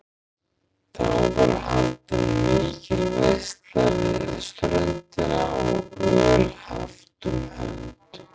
Þá var haldin mikil veisla við ströndina og öl haft um hönd.